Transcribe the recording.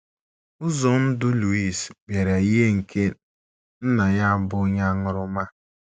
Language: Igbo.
Ụzọ ndụ Luis bịara yie nke nna ya bụ́ onye aṅụrụma.